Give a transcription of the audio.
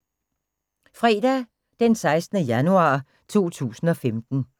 Fredag d. 16. januar 2015